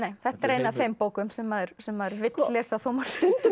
þetta er ein af þeim bókum sem maður sem maður vill lesa þó maður stundum